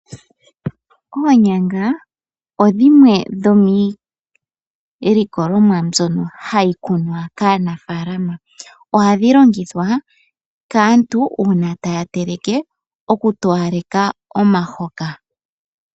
Oonyanga odhimwe dhomiilikolomwa mbyono hayi kunwa kaanafaalama, ohadhi longithwa kaantu uuna taya teleke, oku towaleka omuhoka.